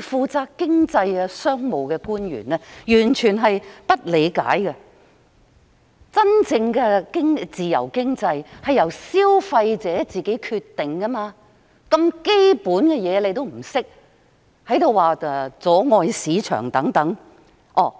負責經濟及商務的官員完全不理解真正的自由經濟是由消費者自行作決定，如此基本的事情也不懂，卻反過來說我們妨礙市場運作、